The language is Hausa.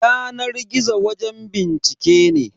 Yanar gizo wajen bincike ne.